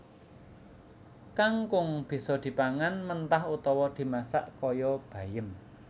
Kangkung bisa dipangan mentah utawa dimasak kaya bayem